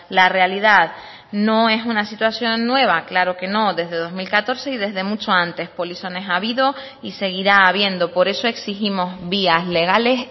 la realidad no es una situación nueva claro que no desde dos mil catorce y desde mucho antes polizones ha habido y seguirá habiendo por eso exigimos vías legales